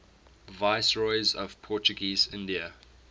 viceroys of portuguese india